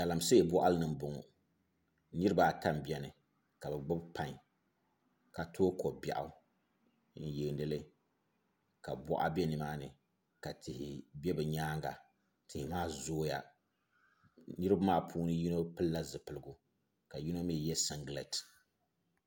Galamsee boɣali ni n boŋo niraba ata n biɛni ka bi gbubi pai ka tooi ko biɛɣu n yeendili ka boɣa bɛ nimaani ka tihi bɛ bi nyaanga tihi maa zooya niraba maa puuni yino pilila zipiligu ka yino mii yɛ singirɛti